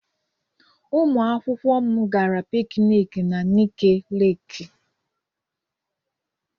Ụmụakwụkwọ m gara piknik na Nike Leku.